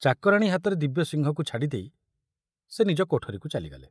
ଚାକରାଣୀ ହାତରେ ଦିବ୍ୟସିଂହକୁ ଛାଡ଼ିଦେଇ ସେ ନିଜ କୋଠରୀକୁ ଚାଲିଗଲେ।